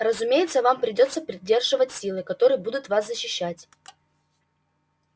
разумеется вам придётся поддерживать силы которые будут вас защищать